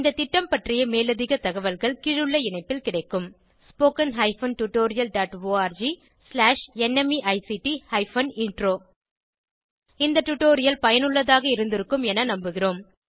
இந்த திட்டம் பற்றிய மேலதிக தகவல்கள் கீழுள்ள இணைப்பில் கிடைக்கும் spoken hyphen tutorial dot org slash NMEICT hyphen intro இந்த டுடோரியல் பயனுள்ளதாக இருந்திருக்கும் என நம்புகிறோம்